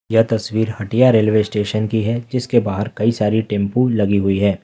यह तस्वीर Hatia railway station की है जिसके बाहर कई सारी टेंपू लगी हुई है।